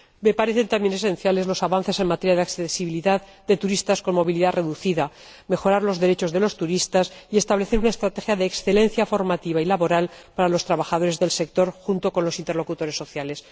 Me parecen también esenciales los avances en materia de accesibilidad de turistas con movilidad reducida, la mejora de los derechos de los turistas y el establecimiento de una estrategia de excelencia formativa y laboral para los trabajadores del sector junto con los interlocutores sociales.